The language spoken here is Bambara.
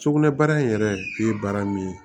Sugunɛbara in yɛrɛ ye baara min ye